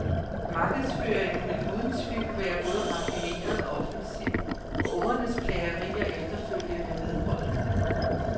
Markedsføringen vil uden tvivl være både raffineret og offensiv, og ungernes plagerier efterfølgende vedholdende.